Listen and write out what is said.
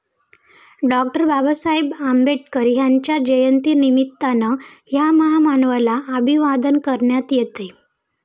डॉ. बाबासाहेब आंबेडकर यांच्या जयंतीनिमित्तानं या महामानवाला अभिवादन करण्यात येतंय.